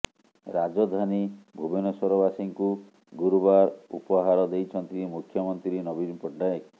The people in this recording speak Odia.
ରାଜଧାନୀ ଭୁବନେଶ୍ୱରବାସୀଙ୍କୁ ଗୁରୁବାର ଉପହାର ଦେଇଛନ୍ତି ମୁଖ୍ୟମନ୍ତ୍ରୀ ନବୀନ ପଟ୍ଟନାୟକ